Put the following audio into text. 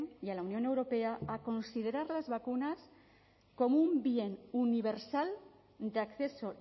y a la unión europea a considerar las vacunas como un bien universal de acceso